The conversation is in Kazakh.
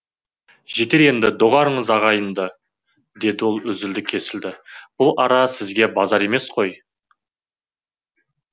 жетер енді доғарыңыз айғайды деді ол үзілді кесілді бұл ара сізге базар емес қой